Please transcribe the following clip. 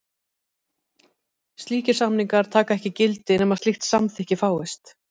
Slíkir samningar taka ekki gildi nema slíkt samþykki fáist.